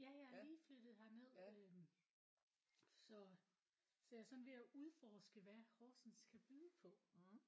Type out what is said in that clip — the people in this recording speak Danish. Ja jeg er lige flyttet herned øh så så jeg er sådan ved at udforske hvad Horsens kan byde på